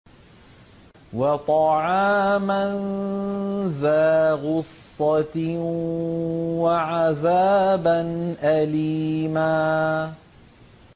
وَطَعَامًا ذَا غُصَّةٍ وَعَذَابًا أَلِيمًا